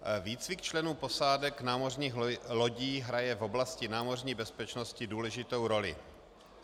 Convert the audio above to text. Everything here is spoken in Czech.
Výcvik členů posádek námořních lodí hraje v oblasti námořní bezpečnosti důležitou roli.